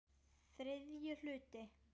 ÞRIðJI HLUTI